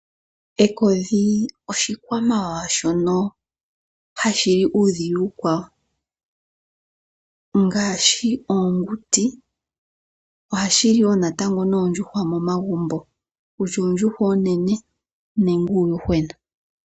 Ekodhi oshikwamawawa shono hashi li uudhila uukwawo. Ngashi oonguti, sho ohashi li wo natango oondjuhwa momagumbo, kutya oondjuhwa oonene, nenge uuyuhwena.